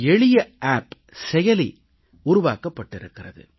எளிய செயலி ஒன்று உருவாக்கப்பட்டிருக்கிறது